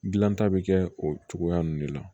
Gilan ta bi kɛ o cogoya nunnu de la